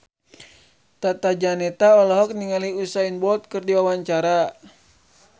Tata Janeta olohok ningali Usain Bolt keur diwawancara